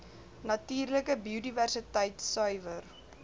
natuurlike biodiversiteit suiwer